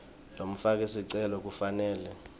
lomfaki sicelo kufanele